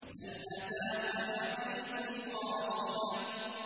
هَلْ أَتَاكَ حَدِيثُ الْغَاشِيَةِ